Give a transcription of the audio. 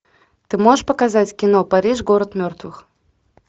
ты можешь показать кино париж город мертвых